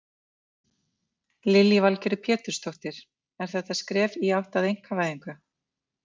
Lillý Valgerður Pétursdóttir: Er þetta skref í átt að einkavæðingu?